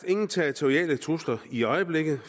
ingen territoriale trusler i øjeblikket